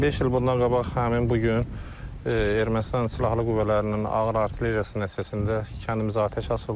Beş il bundan qabaq həmin bu gün Ermənistan silahlı qüvvələrinin ağır artilleriyası nəticəsində kəndimizə atəş açıldı.